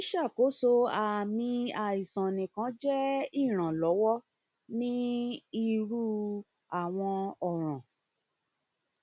ṣiṣakoso aami aisan nikan jẹ iranlọwọ ni iru awọn ọran